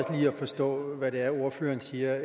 forstå hvad det er ordføreren siger